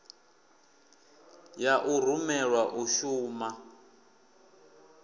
ya u rumelwa u shuma